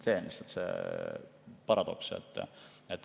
See on lihtsalt see paradoks.